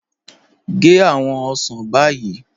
Gẹ́ awọn osán báyì